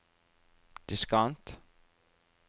diskant